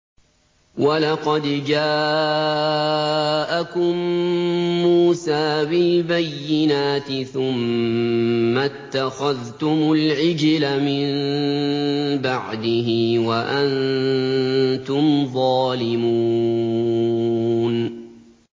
۞ وَلَقَدْ جَاءَكُم مُّوسَىٰ بِالْبَيِّنَاتِ ثُمَّ اتَّخَذْتُمُ الْعِجْلَ مِن بَعْدِهِ وَأَنتُمْ ظَالِمُونَ